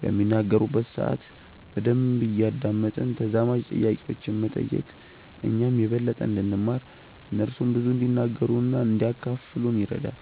በሚናገሩበት ሰአት በደንብ እያደመጥን ተዛማጅ ጥያቄዎችን መጠየቅ እኛም የበለጠ እንድንማር እነርሱም ብዙ እንዲናገሩ እና እንዲያካፍሉን ይረዳል።